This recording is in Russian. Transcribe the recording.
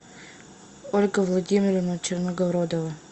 ольга владимировна черногородова